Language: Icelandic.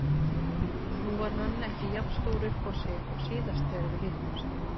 Nú var hann ekki jafn stór uppá sig og síðast þegar við hittumst.